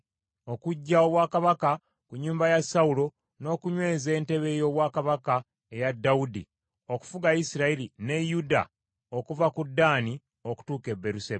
okuggya obwakabaka ku nnyumba ya Sawulo, n’okunyweza entebe ey’obwakabaka eya Dawudi okufuga Isirayiri ne Yuda okuva ku Ddaani okutuuka e Beeruseba .”